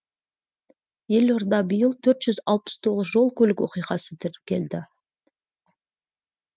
елордада биыл төрт жүз алпыс тоғыз жол көлік оқиғасы тіркелді